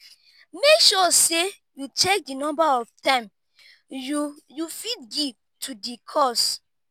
make sure say you check the number of time you you fit give to di cause